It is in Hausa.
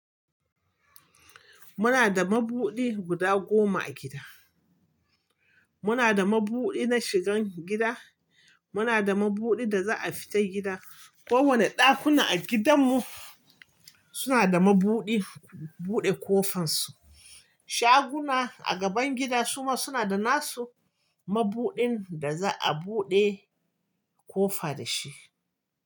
Muna da mabudi guda goma a gida. Muna da mabudi na shigan gida, muna da mabudi da za'a fita gida. Ko wane ɗakuna a gidan mu suna da mabuɗi buɗe ƙofan su. Shaguna a gaban gida suma suna da nasu mabuɗin da za'a buɗe ƙofa da shi.